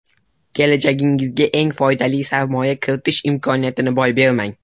Kelajagingizga eng foydali sarmoya kiritish imkoniyatini boy bermang.